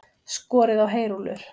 Skorið á heyrúllur